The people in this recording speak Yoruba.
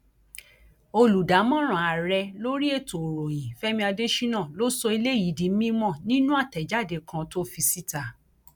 olùdámọràn ààrẹ lórí ètò ìròyìn fẹmi adésínà ló sọ eléyìí di mímọ nínú àtẹjáde kan tó fi síta